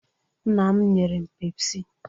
Nna m nyere m pepsị